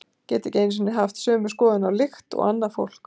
Geti ekki einu sinni haft sömu skoðun á lykt og annað fólk.